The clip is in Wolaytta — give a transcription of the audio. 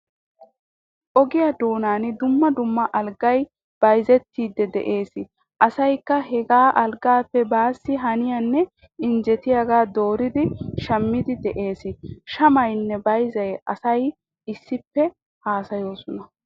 Ogiya doonan dumma dumma alggay bayzettiddi de'eea. Asaykka hegaa alggaappe baassi haniyanne injjetiyagaa dooridi shammidi de'ees. Shammiyanne bayzziya asay issippe haasayoosona.